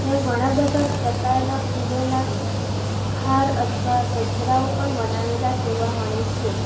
ત્યાં ઘણા બધા પ્રકારના ફૂલોના હાર અથવા ગજરાઓ પણ બનાવેલા જોવા મળે છે.